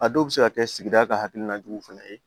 A dɔw bɛ se ka kɛ sigida ka hakilina juguw fana ye